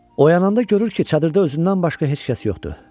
Oyananda görür ki, çadırda özündən başqa heç kəs yoxdur.